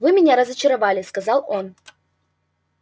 вы меня разочаровали сказал он